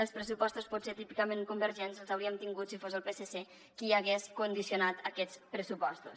els pressupostos potser típicament convergents els hauríem tingut si fos el psc qui hagués condicionat aquests pressupostos